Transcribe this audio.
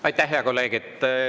Aitäh, hea kolleeg!